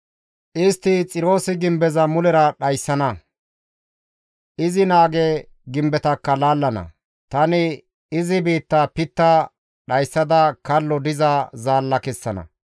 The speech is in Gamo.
Istti Xiroosi gimbeza mulera dhayssana; izi naage gimbetakka laallana; tani izi biittaa pitta dhayssada kallo diza zaalla kessana.